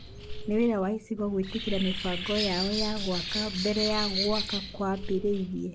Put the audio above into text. nĩ wĩra wa icigo gwĩtĩkĩria mĩbango yao ya gwaka mbere ya gwaka kwambĩrĩirie